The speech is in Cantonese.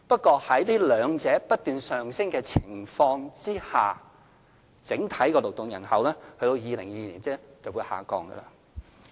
可是，在這兩者皆不斷上升的情況下，整體勞動人口到2022年仍會下降。